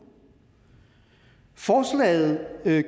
forslaget